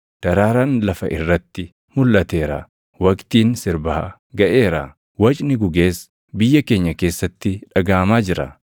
Daraaraan lafa irratti mulʼateera; waqtiin sirbaa gaʼeera; wacni gugees biyya keenya keessatti dhagaʼamaa jira.